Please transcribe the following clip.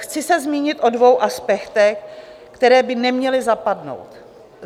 Chci se zmínit o dvou aspektech, které by neměly zapadnout.